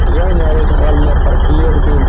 यह marriage hall में प्रति एक दिन --